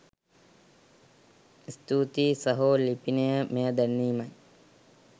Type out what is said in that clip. ස්තුතියි සහෝ ලිපිනය මෙය දැන්වීමක්